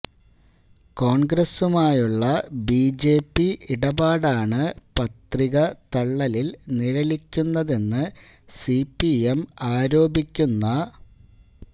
കോൺഗ്രസുമായുള്ള BJP ഇടപാടാണ് പത്രിക തള്ളലിൽ നിഴലിക്കുന്നതെന്ന് സിപിഎം ആരോപിക്കുന്ന